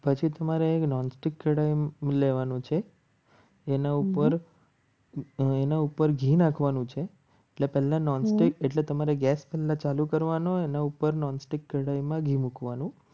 પછી તમારે એક non stick લેવાનું છે. એના ઉપર એના ઉપર ઘી નાખવાનું છે એટલે પહેલાં નોનસ્ટિક એટલે તમારે ગેસ ચાલુ કરવાનો એના ઉપર નોનસ્ટિક મૂકવાનું